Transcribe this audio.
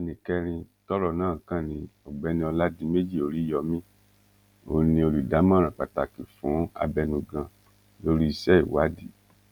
ẹnì kẹrin tọrọ náà kàn ní ọgbẹni ọládiméjì oríyọmi òun ni olùdámọràn pàtàkì fún abẹnugan lórí iṣẹ ìwádìí